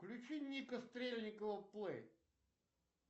включи ника стрельникова плей